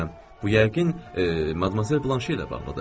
Bu yəqin Madmazel Blanşe ilə bağlıdır.